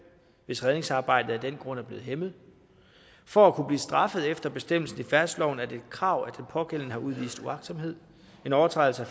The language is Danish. hvis redningsarbejdet af den grund er blevet hæmmet for at kunne blive straffet efter bestemmelsen i færdselsloven er det et krav at den pågældende har udvist uagtsomhed en overtrædelse af